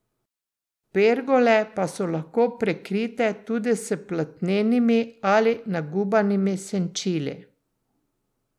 Pergole pa so lahko prekrite tudi s platnenimi ali nagubanimi senčili.